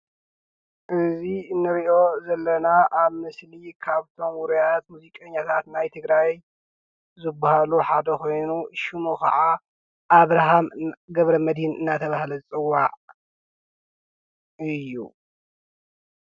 እዙይ እንርእዮ ዘለና ኣብ ምስሊ ካብቶም ውርያት ሙዚቀኛታት ናይ ትግራይ ዝባህሉ ሓደ ኮይኑ ሽሙ ከዓ ኣብርሃም ገብረመድህን እናተባህለ ዝፅዋዕ እዩ።